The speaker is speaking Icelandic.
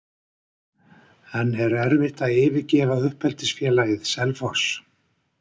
En er erfitt að yfirgefa uppeldisfélagið, Selfoss?